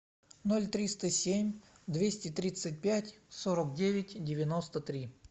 ноль триста семь двести тридцать пять сорок девять девяносто три